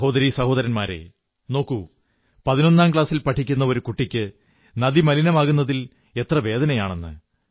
സഹോദരീ സഹോദരന്മാരേ നോക്കൂ പതിനൊന്നാം ക്ലാസിൽ പഠിക്കുന്ന ഒരു കുട്ടിക്ക് നദി മലിനമാകുന്നതിൽ എത്ര വേദനയാണെന്ന്